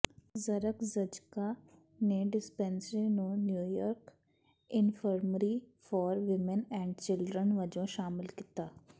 Zakrzewska ਨੇ dispensary ਨੂੰ New York infirmary for women and children ਵਜੋਂ ਸ਼ਾਮਲ ਕੀਤਾ